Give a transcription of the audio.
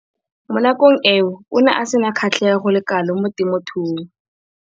Mo nakong eo o ne a sena kgatlhego go le kalo mo temothuong.